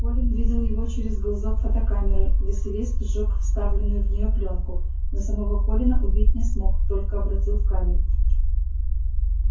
колин видел его через глазок фотокамеры василиск сжёг вставленную в неё плёнку но самого колина убить не смог только обратил в камень